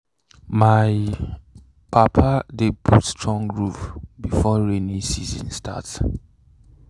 my papa dey put strong roof before rainy season start.